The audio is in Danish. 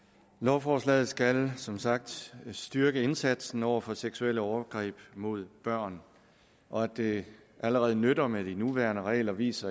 lovforslaget skal som sagt styrke indsatsen over for seksuelle overgreb mod børn og at det allerede nytter med de nuværende regler vises